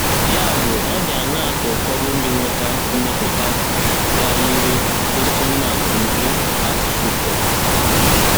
Ya bụ, ọ dị anaa ka ụfọdụ ndị nweta mmetuta ka yiri nke Atsuko